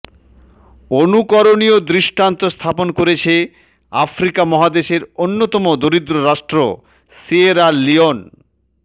অনুকরণীয় দৃষ্টান্ত স্থাপন করেছে আফ্রিকা মহাদেশের অন্যতম দরিদ্র রাষ্ট্র সিয়েরা লিওন